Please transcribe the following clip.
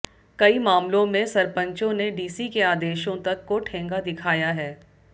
कई मामलों में सरपंचों ने डीसी के आदेशों तक को ठेंगा दिखाया है